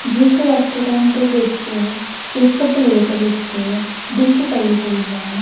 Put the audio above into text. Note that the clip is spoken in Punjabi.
ਜਿਸ ਰੈਸਟੋਰੈਂਟ ਦੇ ਵਿੱਚ ਇੱਕ ਪਲੇਟ ਵਿੱਚ ਡਿਸ਼ ਪਈ ਹੋਈ ਹੈ।